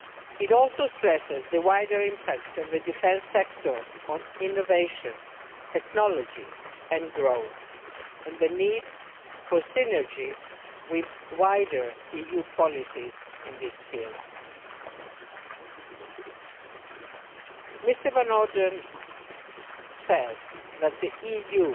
It also stresses the wider impact of the defence sector on innovation, technology and growth and the need for synergies with wider EU policies in these fields Mr Van Orden says that the EU